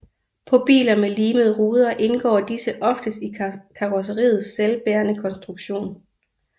På biler med limede ruder indgår disse oftest i karrosseriets selvbærende konstruktion